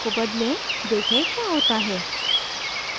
देखें क्या होता है